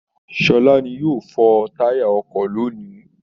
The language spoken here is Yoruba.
Sọlá ni yóò fọ táyà ọkọ lónìí